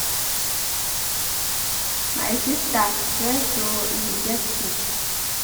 My sister rest oo if you get sick